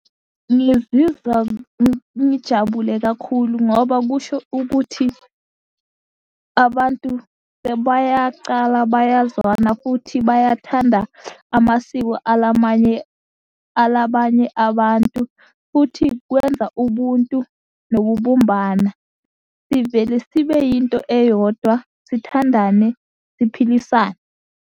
Ngizizwa ngijabule kakhulu, ngoba kusho ukuthi abantu sebayacala bayazwana futhi bayathanda amasiko ala banye abantu, futhi kwenza ubuntu nokubumbana. Sivele sibe yinto eyodwa, sithandane siphilisane.